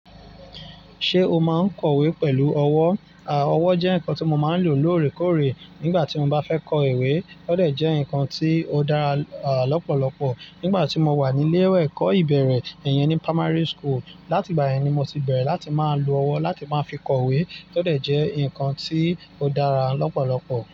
Ṣé o máa ń kọ ìwé pẹ̀lú ọwọ́? À, ọwọ́ jẹ́ nǹkan tí mo máa ń lò lóòrèkóòrè nígbà tí mo bá fẹ́ kọ ìwé. Ó dẹ jẹ nǹkan tí ó dára à lọ́pọ̀lọpọ̀ nígbà tí mo wà ní ilé ẹ̀kọ́ ìbẹ̀rẹ̀ iyẹn ní primary school. Látì gba yẹn ní mo ti bẹ̀rẹ̀ láti máa lo ọwọ́ láti máa fi kọ ìwé, tó dẹ jẹ́ nǹkan tí ó dára lọ́pọ̀lọpọ̀.